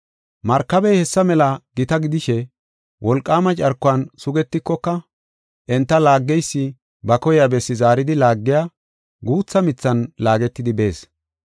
Markabey hessa mela gita gidishe wolqaama carkuwan sugetikoka, enta laaggeysi ba koyiya bessi zaaridi laagiya guutha mithan laagetidi bees.